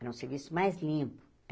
Era um serviço mais limpo.